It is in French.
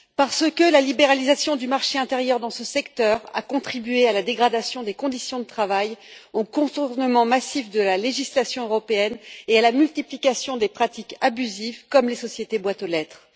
En effet, la libéralisation du marché intérieur dans ce secteur a contribué à la dégradation des conditions de travail, au contournement massif de la législation européenne et à la multiplication des pratiques abusives, comme les sociétés boîtes aux lettres.